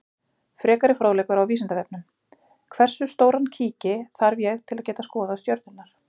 Frekari fróðleikur á Vísindavefnum: Hversu stóran kíki þarf ég til að geta skoðað stjörnurnar?